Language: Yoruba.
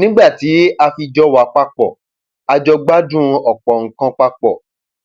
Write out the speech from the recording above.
nígbà tí a fi jọ wá papọ a jọ gbádùn ọpọ nǹkan papọ